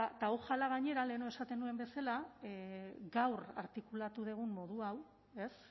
ojala gainera lehenago esaten nuen bezala gaur artikulatu dugun modu hau ez